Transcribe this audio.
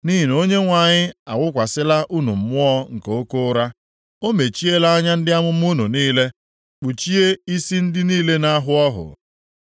Nʼihi na Onyenwe anyị awụkwasịla unu mmụọ nke oke ụra. O mechiela anya ndị amụma unu niile, kpuchie isi ndị niile na-ahụ ọhụ.